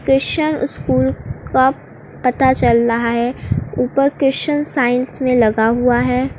Christian school का पता चल रहा है ऊपर क्रिश्चियन साइंस में लगा हुआ है।